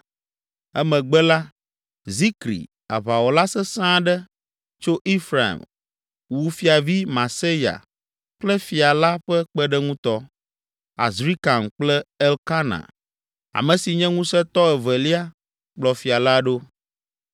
Emegbe la, Zikri, aʋawɔla sesẽ aɖe, tso Efraim, wu fiavi, Maaseya kple fia la ƒe kpeɖeŋutɔ, Azrikam kple Elkana, ame si nye ŋusẽtɔ evelia kplɔ fia la ɖo.